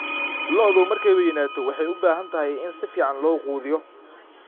Lo'du markay weynaato waxay u baahan tahay in si fiican loo quudiyo.